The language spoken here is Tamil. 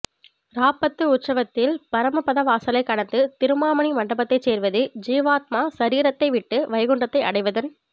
ராப்பத்து உற்சவத்தில் பரமபதவாசலைக்கடந்து திருமாமணி மண்டபத்தைச் சேர்வது ஜீவாத்மா சரீரத்தை விட்டு வைகுண்டத்தை அடைவதன்